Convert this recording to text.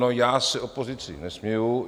No já se opozici nesměju.